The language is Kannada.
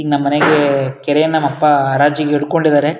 ಇಲ್ ನಮ್ ಮನೆಗೆ ನಮ್ ಅಪ್ಪ ಕೆರೆ ಹರಾಜಿಗೆ ಇಟ್ಕೊಂಡಿದಾರೆ-